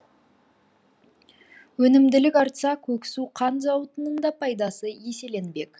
өнімділік артса көксу қант зауытының да пайдасы еселенбек